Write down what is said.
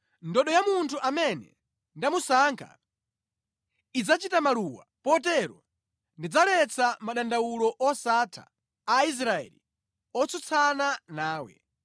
Ndodo ya munthu amene ndamusankha idzachita maluwa potero ndidzaletsa madandawulo osatha a Aisraeli otsutsana nawe.”